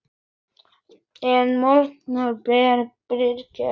En margt bar fyrir augu.